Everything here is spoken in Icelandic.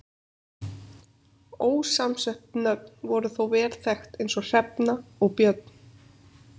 Ósamsett nöfn voru þó vel þekkt eins og Hrefna og Björn.